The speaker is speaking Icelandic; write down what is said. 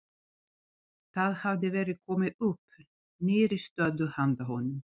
Það hafði verið komið upp nýrri stöðu handa honum.